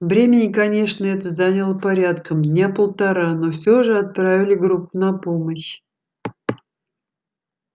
времени конечно это заняло порядком дня полтора но всё же отправили группу на помощь